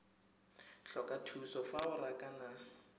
tlhoka thuso fa o rakana